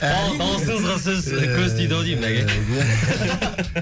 әй дауысыңызға сөз көз тиді ау деймін бәке